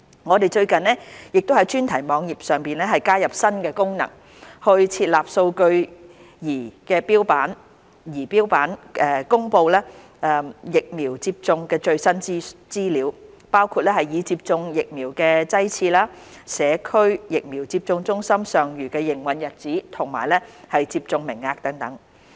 我們最近亦在專題網頁上加入新功能，設立數據儀錶板公布疫苗接種的最新資料，包括已接種的疫苗劑次、社區疫苗接種中心尚餘的營運日子及接種名額等。